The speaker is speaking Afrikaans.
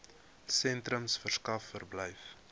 sentrums verskaf verblyf